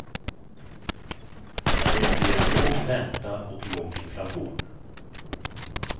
Det ger låg ränta och låg inflation.